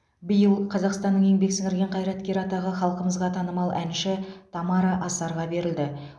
биыл қазақстанның еңбек сіңірген қайраткері атағы халқымызға танымал әнші тамара асарға берілді